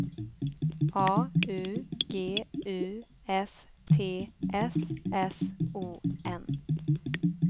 A U G U S T S S O N